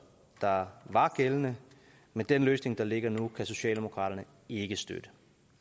der var gældende men den løsning der ligger nu kan socialdemokraterne ikke støtte